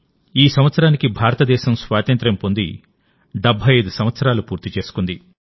ఈ సంవత్సరానికి భారతదేశం స్వాతంత్ర్యం పొంది 75 సంవత్సరాలు పూర్తి చేసుకుంది